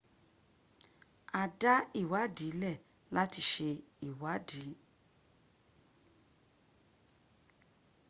a dá ìwádi lẹ̀ lati ṣe ìwád